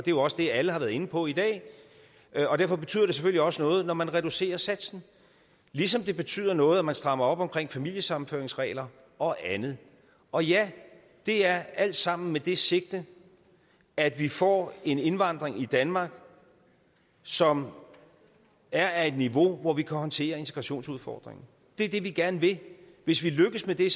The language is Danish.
jo også det alle har været inde på i dag og derfor betyder det selvfølgelig også noget når man reducerer satsen ligesom det betyder noget at man strammer op omkring familiesammenføringsregler og andet og ja det er alt sammen med det sigte at vi får en indvandring i danmark som er af et niveau hvor vi kan håndtere integrationsudfordringen det er det vi gerne vil hvis vi lykkes med det